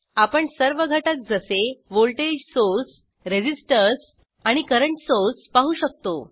आपण सर्व घटक जसे व्होल्टेज सोर्स रेसिसटर्स आणि करंट सोर्स पाहू शकतो